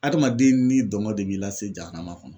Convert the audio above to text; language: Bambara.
Adamaden n'i dɔnkɔ de b'i la se jamana kɔnɔ.